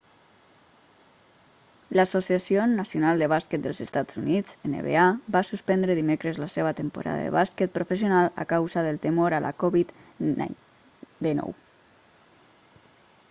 l'associació nacional de bàsquet dels estats units nba va suspendre dimecres la seva temporada de bàsquet professional a causa del temor a la covid-19